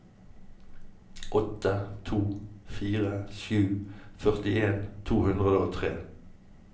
åtte to fire sju førtien to hundre og tre